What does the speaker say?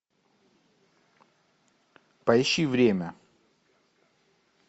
поищи время